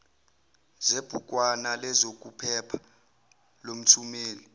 zebhukwana lezokuphepha lomthumeli